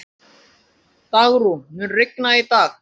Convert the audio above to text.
Dagrún, mun rigna í dag?